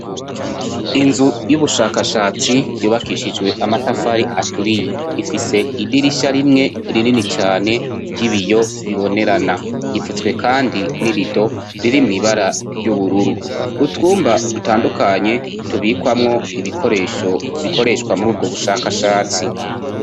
Inzu y'ubushakashatsi yubakishijwe amatafari aturiye ifise idirisha rimwe rinini cane ry'ibiyo bibonerana rifutswe kandi n'irido riri mw'ibara ry'ubururu. Utwumba dutandukanye tubikwamwo ibikoresho bikoreshwa mur'ubwo bushakashatsi.